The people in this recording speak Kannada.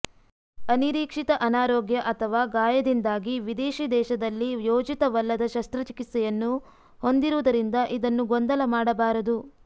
ಅನಿರೀಕ್ಷಿತ ಅನಾರೋಗ್ಯ ಅಥವಾ ಗಾಯದಿಂದಾಗಿ ವಿದೇಶಿ ದೇಶದಲ್ಲಿ ಯೋಜಿತವಲ್ಲದ ಶಸ್ತ್ರಚಿಕಿತ್ಸೆಯನ್ನು ಹೊಂದಿರುವುದರಿಂದ ಇದನ್ನು ಗೊಂದಲ ಮಾಡಬಾರದು